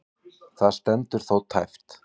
Það stendur þó tæpt.